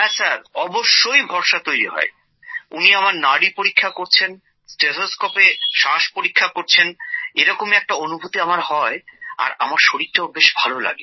হ্যাঁ অবশ্যই ভরসা তৈরি হয় উনি আমার নাড়ি পরীক্ষা করছেন স্টেথোস্কোপে শ্বাস পরীক্ষা করছেন এরকমই একটা অনুভূতি আমার হয় আর আমার শরীরটাও বেশ ভালো লাগে